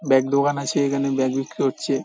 Bag দোকান আছে। এখানে ব্যাগ বিক্রি হচ্ছে।